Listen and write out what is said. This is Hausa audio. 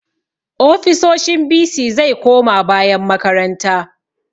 Ofisoshin bc zai koma bayan makaranta